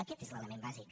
aquest és l’element bàsic